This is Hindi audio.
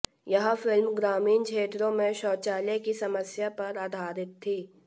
यह फिल्म ग्रामीण क्षेत्रों में शौचालय की समस्या पर आधारित थी